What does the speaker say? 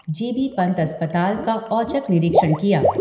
जी B Pant अस्पताल का औचक निरीक्षण किया।